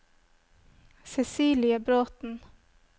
Cecilie Bråten